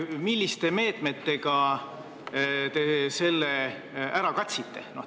Milliste meetmetega te selle ära katsite?